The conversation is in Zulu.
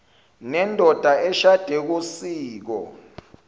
nendoda eshade ngosiko